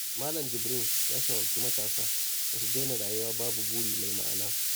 Malam Jibrin ya shawarci matasa da su daina rayuwa babu buri mai ma'ana.